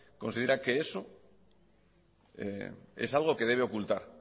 considera que eso es algo que debe ocultar